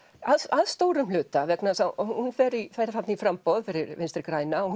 að stórum hluta vegna þess að hún fer þarna í framboð fyrir Vinstri græna og